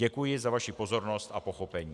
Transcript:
Děkuji za vaši pozornost a pochopení.